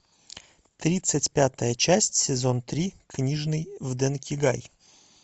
тридцать пятая часть сезон три книжный в дэнкигай